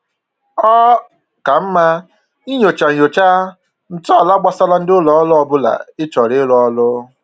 Ọ ka mma inyocha inyocha ntọala gbasara ndị ụlọ ọrụ ọbụla ị chọrọ ịrụrụ ọrụ